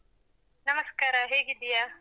ನಮಸ್ಕಾರ ಹೇಗಿದ್ದೀಯಾ?